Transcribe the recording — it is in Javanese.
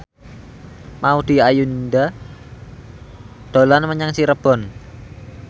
Maudy Ayunda dolan menyang Cirebon